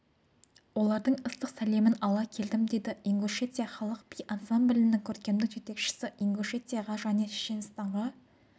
олардың ыстық сәлемін ала келдім дейді ингушетия халық би ансамбілінің көркемдік жетекшісі ингушетияға және шешенстанға